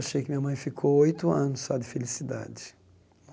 Achei que minha mãe ficou oito anos só de felicidade.